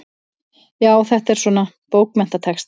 Já, þetta er svona. bókmenntatexti.